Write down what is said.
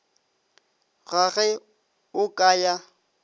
ga ge o ka ya